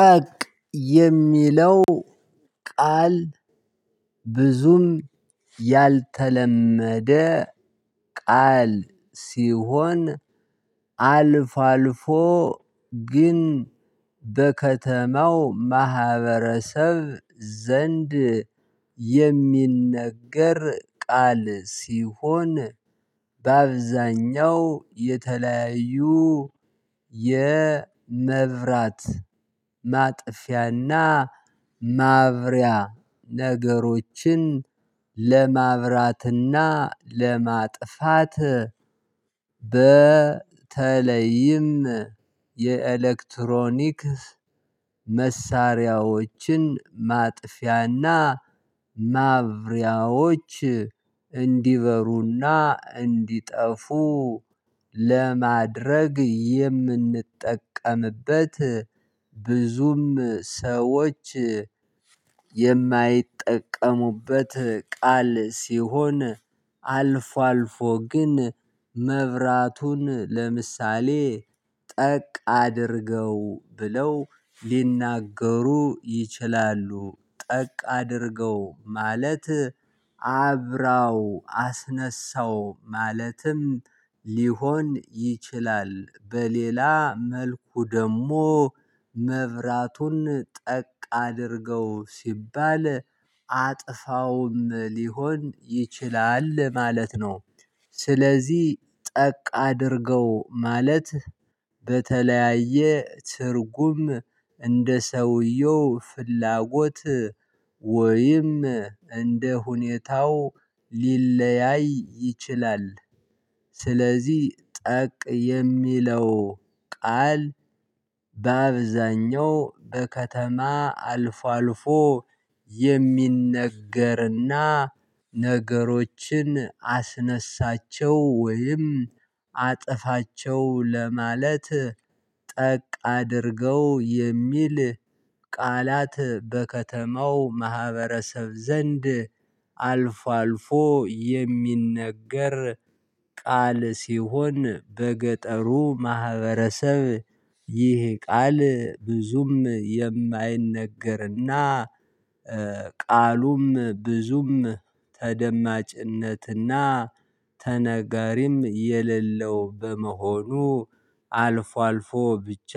ጠቅ የሚለው ቃል ብዙም ያልተለመደ ቃል ሲሆን። አልፎ ግን በከተማው ማህበረሰብ ዘንድ የሚነገር ቃል ሲሆን በአብዛኛው የተለያዩ የመብራት ማጥፊያና ማብሪያ ነገሮችን ለማብራትና ለማጥፋት። በተለይም የኤሌክትሮኒክ መሳሪያዎችን ማጥፊያና ማብሪያዎች እንዲበሩና እንዲጠፉ ለማድረግ የምንጠቀምበት ብዙም ሰዎች የማይጠቀሙበት ቃል ሲሆን አልፎ አልፎ ግን መብራቱን ለምሳሌ ጠቅ አድርገው ብለው ሊናገሩ ይችላሉ ጠቅ አድርገው ማለት አብራው አስነሳው ማለትም ሊሆን ይችላል። በሌላ መልኩ ደግሞ መብራቱን ጠቅ አድርገው ሲባል አጥፋውም ሊሆን ይችላል ማለት ነው። ስለዚህ ጠቅ አድርገው ማለት በተለያየ ትርጉም እንደ ሰውየው ፍላጎት ወይም እንደ ሁኔታው ሊለያይ ይችላል። ስለዚህ ጠቅ የሚለው ቃል በአብዛኛው በከተማ አልፎ አልፎ የሚነገርና ነገሮችን አስነሳቸው ወይም አጥፋቸው ለማለት ጠቅ አድርገው የሚል ቃላት በከተማው ማህበረሰብ ዘንድ አልፎ አልፎ የሚነገር ቃል ሲሆን። በገጠሩ ማህበረሰብ ይህ ቃል ብዙም የማይነገርና ቃሉም ብዙም ተደማጭነትና ተነጋሪም የሌለው በመሆኑ አልፎ አልፎ ብቻ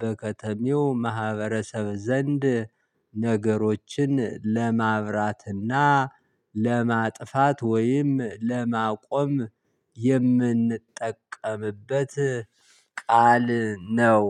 በከተሜው ማህበረሰብ ዘንድ ነገሮችን ለማብራትና ለማጥፋት ወይም ለማቆም የምንጠቀምበት ቃል ነው።